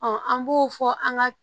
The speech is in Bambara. an b'o fɔ an ga